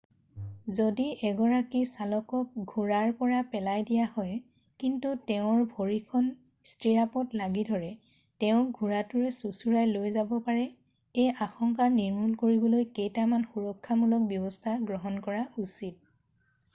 যদি এগৰাকী চালকক ঘোঁৰাৰ পৰা পোলাই দিয়া হয় কিন্তু তেওঁৰ ভৰিখন ষ্টিৰাপত লাগি ধৰে তেওঁক ঘোঁৰাটোৱে চোঁচোৰাই লৈ যাব পাৰে এই আশংকা নিৰ্মূল কৰিবলৈ কেইটামান সুৰক্ষামূলক ব্যৱস্থা গ্ৰহণ কৰা উচিত